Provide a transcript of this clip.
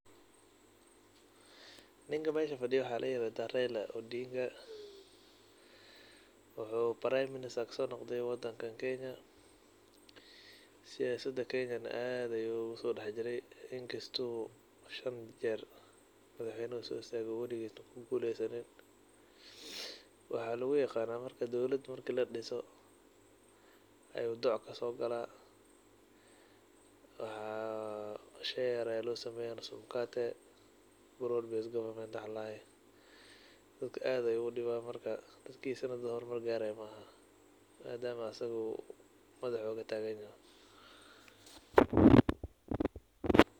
Ninkan meesha fadiyo waxa ladaha Raila Odinga, wuxu prime minister kasonoqde wadankan Kenya, siyasda kenya aad ayu ogudexjire inkasto shan jeer usoistage madaxweyne una kuguleysanin. Waxa luguyaqana marki dowlada ladiso ayu doc kasogala qorsho yar aya lasiya oo nusu mkate oo broad base government waxa ladoho dadka aad ayu udiwa dadkisa hormar magarayan madama asaga madaxa ogataganyahay.